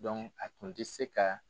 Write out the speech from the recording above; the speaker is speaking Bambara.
a tun tɛ se ka